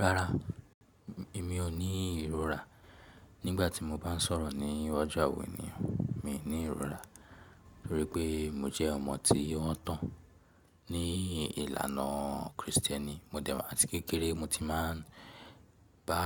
Rárá, èmi ò ní ìrora nígbà tí mo bá ń sọ̀rọ̀ ní iwaju àwọn ènìyàn. Mi ò ní ìrora, nítorí pé mo jẹ́ ọmọ tí wọ́n tàn ní ìlànà Kristẹni. Mó dẹ̀, àti kékeré mo ti máa ń bá